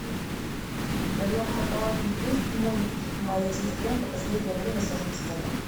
в твоем каталоге есть мульт моя сестренка последнее время сама не своя